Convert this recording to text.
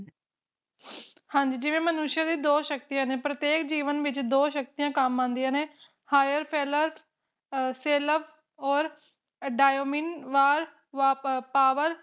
ਹਾਂਜੀ ਵੀ ਮਨੁਸ਼ ਦੇ ਵੀ ਦੋ ਸ਼ਕਤੀਆਂ ਨੇ ਪ੍ਰਤੇਕ ਜੀਵਨ ਵਿਚ ਦੋ ਸ਼ਕਤੀਆਂ ਕੰਮ ਆਉਂਦੀਆਂ ਨੇ Hire ਪਹਿਲਾ ਪਹਿਲਾ ਓਰ A Dayamin Was va Power